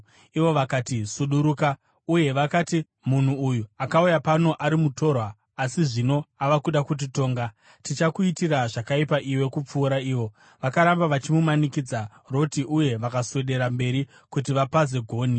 Ivo vakati, “Suduruka!” Uye vakati, “Munhu uyu akauya pano ari mutorwa, asi zvino ava kuda kutitonga! Tichakuitira zvakaipa iwe kupfuura ivo.” Vakaramba vachimanikidza Roti uye vakaswedera mberi kuti vapaze gonhi.